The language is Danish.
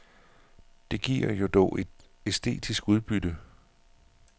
Det giver jo dog et æstetisk udbytte.